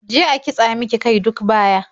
Je a kitsa mika kai duk baya.